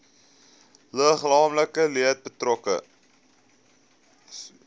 liggaamlike leed betrokke